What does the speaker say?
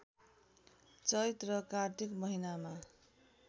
चैत र कार्तिक महिनामा